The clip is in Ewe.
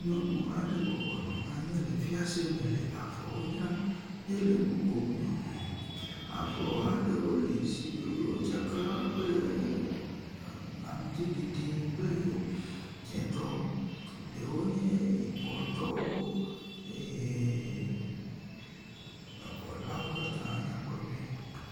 Nyɔnu aɖe le avɔwo dzram. Yele nu kom nyɔmɔɔ. Avɔ aɖewo li wo tsaka kple aŋti ɖiɖi kple dzẽtɔwo, ɖewo nye yibɔtɔwo. Eeee avɔ lawo katã nyakpɔ nyuie.